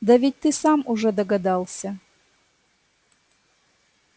да ведь ты сам уже догадался